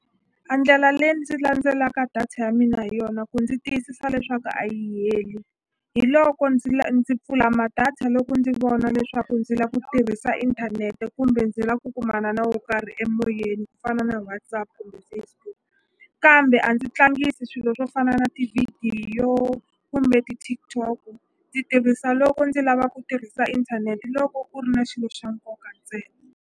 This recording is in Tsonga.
A ndlela leyi ndzi landzelaka data ya mina hi yona ku ndzi tiyisisa leswaku a yi heli hi loko ndzi ndzi pfula ma-data loko ndzi vona leswaku ndzi la ku tirhisa inthanete kumbe ndzi la ku kumana na wo karhi emoyeni yena ku fana na WhatsApp kumbe Facebook kambe a ndzi tlangisi swilo swo fana na tivhidiyo kumbe ti-TikTok ndzi tirhisa loko ndzi lava ku tirhisa inthanete loko u ri na xilo xa nkoka ntsena.